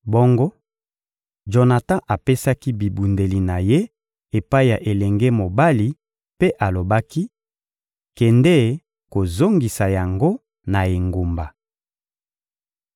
Bongo Jonatan apesaki bibundeli na ye epai ya elenge mobali mpe alobaki: «Kende kozongisa yango na engumba.»